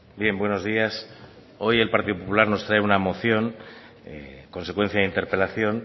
bien buenos días hoy el partido popular nos trae una moción consecuencia de interpelación